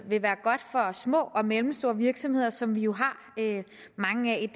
vil være godt for små og mellemstore virksomheder som vi jo har mange af